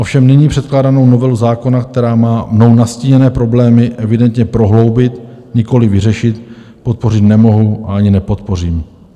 Ovšem nyní předkládanou novelu zákona, která má mnou nastíněné problémy evidentně prohloubit, nikoliv vyřešit, podpořit nemohu a ani nepodpořím.